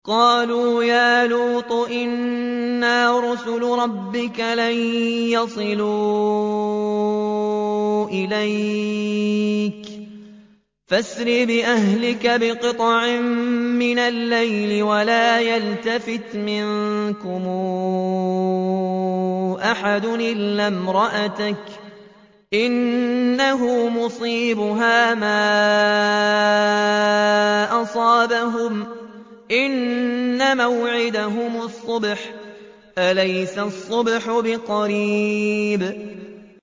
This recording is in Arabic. قَالُوا يَا لُوطُ إِنَّا رُسُلُ رَبِّكَ لَن يَصِلُوا إِلَيْكَ ۖ فَأَسْرِ بِأَهْلِكَ بِقِطْعٍ مِّنَ اللَّيْلِ وَلَا يَلْتَفِتْ مِنكُمْ أَحَدٌ إِلَّا امْرَأَتَكَ ۖ إِنَّهُ مُصِيبُهَا مَا أَصَابَهُمْ ۚ إِنَّ مَوْعِدَهُمُ الصُّبْحُ ۚ أَلَيْسَ الصُّبْحُ بِقَرِيبٍ